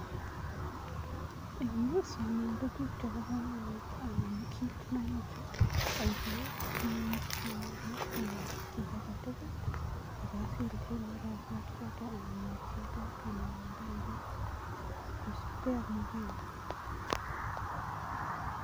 Eng yu sanem tuguk chebo kamanut anan kiit nomoche aipu kimnyet nemining anan kiy age tugul aka silichi marakwek choto anan muchelek anan ndenguk kosupkei ak makenyun.